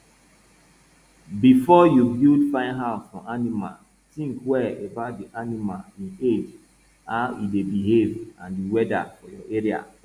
befo yu build fine house for animal tink well about di animal e age how e dey behave an di weather for your area